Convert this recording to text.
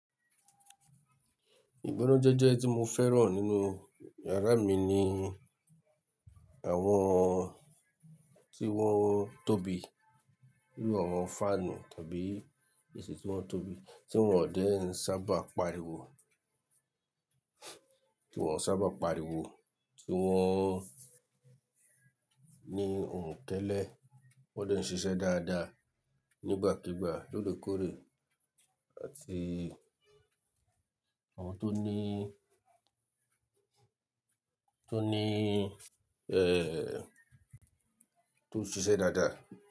Ìgbónájẹ́jẹ́ tí mo fẹ́ràn nínú yàrá mi ni àwọn tí wọ́n tóbi, inú àwọn fáànù tàbí AC tí wọ́n tóbi tí wọ́n ò dé ń sábà pariwo, tí wọ́n sábà pariwo, tí wọ́n ní ohun kẹ́lẹ̀, wọ́n dẹ̀ ń ṣiṣẹ́ dáadáa nígbàkigbà, lóre kórè àti àwọn tó ní, tó ní, ẹ́, tó ń ṣiṣẹ́ dáadáa.